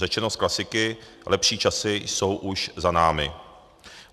Řečeno s klasiky, lepší časy jsou už za námi.